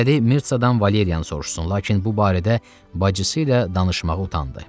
İstədi Mitsadan Valeriyanı soruşsun, lakin bu barədə bacısı ilə danışmağa utandı.